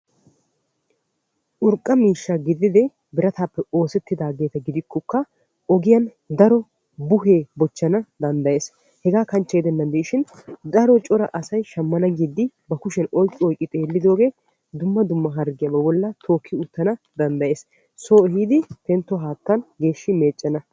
urqqa miishsha gididi Birataappe oosettidaageta gidikokka ogiyaan daro buhee beessana danddayees. hegaa kanchche gidennan diishin daro cora asay shammana giiddi ba kushshiyaan oyqqi oyqqi xeellidoogee dumma dumma harggiyaa ba bolli aattana danddayees. so ehiidi xillo haattan geeshshi meeccana.